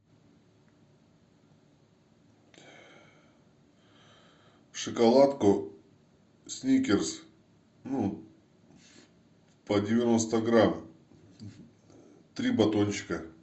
шоколадку сникерс ну по девяносто грамм три батончика